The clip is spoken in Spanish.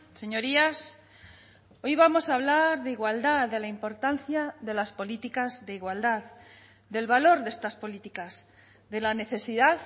señorías hoy vamos a hablar de igualdad de la importancia de las políticas de igualdad del valor de estas políticas de la necesidad